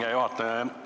Hea juhataja!